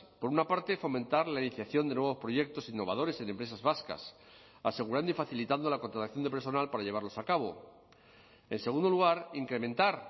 por una parte fomentar la iniciación de nuevos proyectos innovadores en empresas vascas asegurando y facilitando la contratación de personal para llevarlos a cabo en segundo lugar incrementar